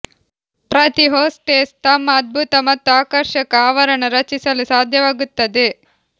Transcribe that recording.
ಪ್ರತಿ ಹೊಸ್ಟೆಸ್ ತಮ್ಮ ಅದ್ಭುತ ಮತ್ತು ಆಕರ್ಷಕ ಆವರಣ ರಚಿಸಲು ಸಾಧ್ಯವಾಗುತ್ತದೆ